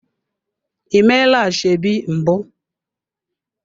Ị meela ashebi mbụ?